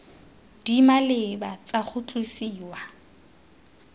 di maleba tsa go tlosiwa